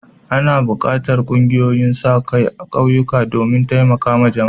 Ana buƙatar ƙungiyoyin sa-kai a ƙauyuka domin taimakon jama'a.